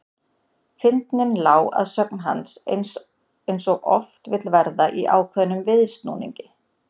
Fyndnin lá að sögn hans eins og oft vill verða í ákveðnum viðsnúningi.